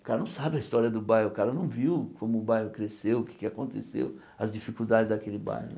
O cara não sabe a história do bairro, o cara não viu como o bairro cresceu, o que é que aconteceu, as dificuldades daquele bairro.